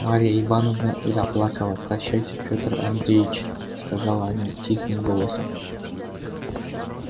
марья ивановна заплакала прощайте петр андреич сказала она тихим голосом